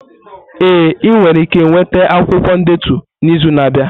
Ee, ị nwere ike nweta akwụkwọ ndetu n'izu na-abịa.